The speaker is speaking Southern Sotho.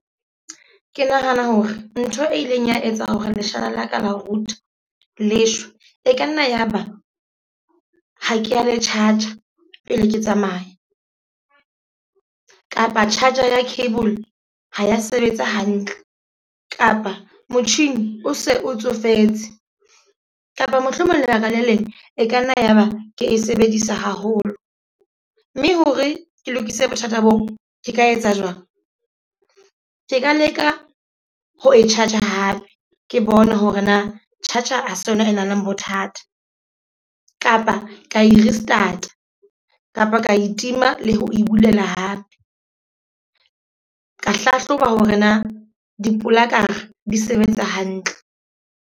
Ke nahana hore ntho e ileng ya etsa hore leshala la ka la router le shwe, e ka nna ya ba ha keba le charger pele ke tsamaya. Kapa charger ya cable ha ya sebetsa hantle kapa motjhini o se o tsofetse. Kapa mohlomong lebaka le leng e ka nna yaba ke e sebedisa haholo. Mme hore ke lokise bothata boo, ke ka etsa jwang? Ke ka leka ho e charge hape ke bona hore na charger ha se yona e nang le bothata. Kapa ka e restart kapa ka itima le ho e bulela hape. Ka hlahloba hore na dipolaka di sebetsa hantle.